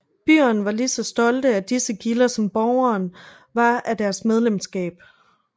Byerne var lige så stolte af disse gilder som borgerne var af deres medlemskab